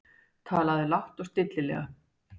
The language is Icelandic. Talaði lágt og stillilega.